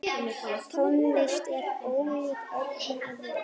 Tónlist er ólík öllu öðru.